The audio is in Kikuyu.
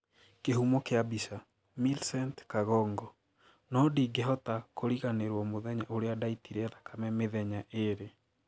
Kihumo kia bica, Millicent Kagongo" Noo ndingehota kuriganiruo muthenya uria ndaiitire thakame methenya iri."